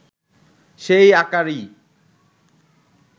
সেই আকারই